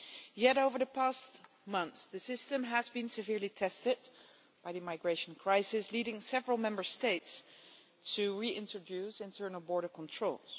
Yet over the past months, the system has been severely tested by the migration crisis, leading several Member States to reintroduce internal border controls.